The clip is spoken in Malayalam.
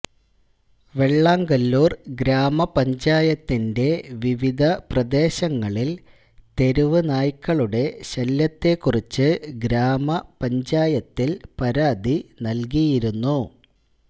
വെള്ളാങ്കല്ലൂര് ഗ്രാമപഞ്ചായത്തിന്റെ വിവിധ പ്രദേശങ്ങളില് തെരുവ് നായ്ക്കളുടെ ശല്ല്യത്തെ കുറിച്ച് ഗ്രാമപഞ്ചായത്തില് പരാതി നല്കിയിരുന്നു